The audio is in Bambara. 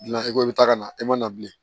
Dilan i ko i bɛ taa ka na e man bilen